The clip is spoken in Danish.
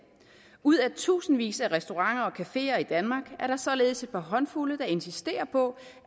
ud af tusindvis af restauranter og cafeer i danmark er der således et par håndfulde der insisterer på